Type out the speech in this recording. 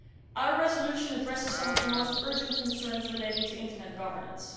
law. Our resolution addresses some of the most urgent concerns relating to internet governance.